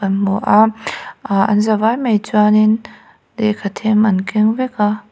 kan hmu a ahh an zavai mai chuan in lehkha them an keng vek a.